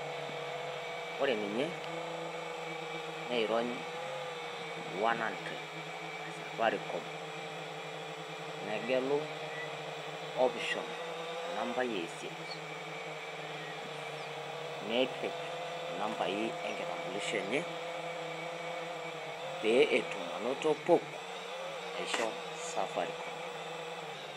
Ore ninye neirony one hundred e safaricom negelu option enambai e isiet. Nepik inambai e nkitambulisho enye pee etum anoto PUK naisho safaricom.